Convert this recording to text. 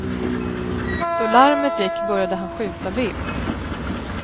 Då larmet gick började han skjuta vilt.